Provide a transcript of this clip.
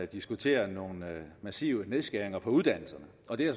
diskutere nogle massive nedskæringer på uddannelserne og det er